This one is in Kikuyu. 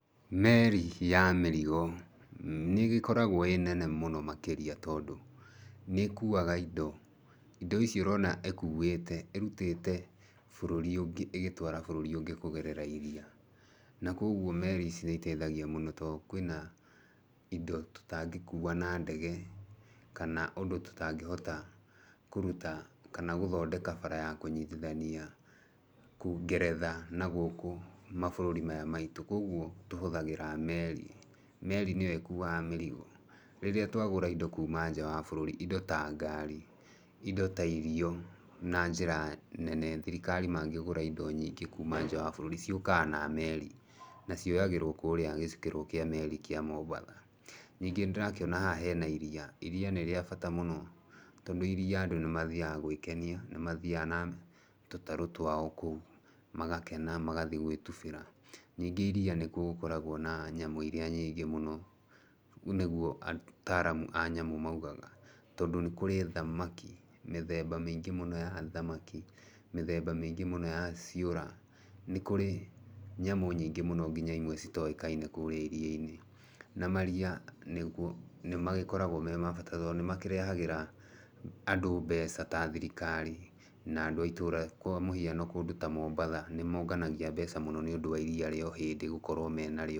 Meri ya mĩrigo, nĩ ĩgĩkoragwo ĩĩ nene mũno makĩrĩa tondũ nĩ ĩkuaga indo. Indo ici ũrona ĩkuĩte ĩrutĩte bũrũri ũngĩ ĩgĩtwara bũrũri ũngĩ kũgerera iria. Na koguo meri ici nĩ iteithagia mũno tondũ kwĩna indo tũtangĩkuwa na ndege kana indo tũtangĩhota kũrũta, kana gũthondeka bara ya kũnyitithania ngeretha na gũkũ mabũrũri maya maitũ. Koguo tũhũthagĩra meri. Meri nĩyo ĩkuaga mĩrigo. Rĩrĩa twagũra indo kuma nja wa bũrũri indo ta ngari, indo ta irio na njĩra nene, thirikari mangĩgũra indo na nyingĩ kuma nja wa bũrũri ciũkaga na meri, na cioyagĩrwo kũrĩa gĩcukĩro kĩa meri kũrĩa Mombatha. Ningĩ nĩ ndĩrakĩona haha hena iria, Iria nĩ rĩa bata mũno, tondũ iria andũ nĩ mathiaga gwĩkenia, nĩ mathiaga na tũtarũ twao kũu magakena magathiĩ gũgĩtubĩra. Ningĩ iria nĩkuo gũkoragwo na nyamũ irĩa nyingĩ mũno, nĩguo ataaramu a nyamũ moigaga, tondũ nĩ kũrĩ thamaki mĩthemba mĩingĩ mũno ya thamaki, mĩthemba mĩingĩ mũno ya ciũra. Nĩ kũrĩ nyamũ nyingĩ mũno nginya imwe citoĩkaine kũrĩa iria-inĩ. Na maria nĩkuo nĩ magĩkoragwo me ma bata tondũ nĩ makĩrehagĩra andũ mbeca ta thirikari na andũ a itũra. Kwa mũhiano kũndũ ta Mombatha nĩ monganagia mbeca mũno nĩ ũndũ wa iria rĩa ũhĩndĩ gũkorwo menarĩo.